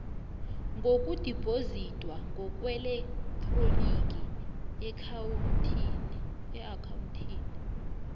ngokudibhozidwa ngokweelektroniki eakhawuntini